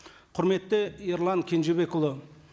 құрметті ерлан кенжебекұлы